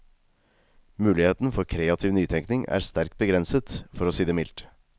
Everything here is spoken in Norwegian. Muligheten for kreativ nytenkning er sterkt begrenset, for å si det mildt.